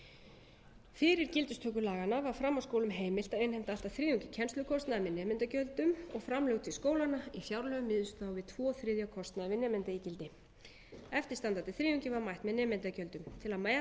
námseiningu fyrir gildistöku laganna var framhaldsskólum heimilt að innheimta allt að þriðjungi kennslukostnaðar með nemendagjöldum framlög til skólanna í fjárlögum miðuðust þá við tvo þriðju af kostnaði við nemendaígildi eftirstandandi þriðjungi var mætt með nemendagjöldum til að mæta